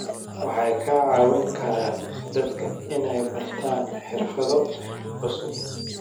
Waxay ka caawin karaan dadka inay bartaan xirfado cusub.